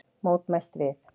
Mótmælt við